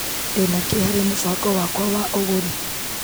Ndĩna kĩ harĩ mũbango wakwa wa ũgũri .